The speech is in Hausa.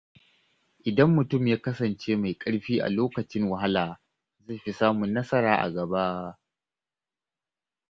Idan mutum ya kasance mai ƙarfi a lokacin wahala, zai fi samun nasara a gaba.